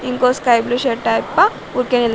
ఇంకో sky blue shirt ఆయప్ప ఊరికే నిల్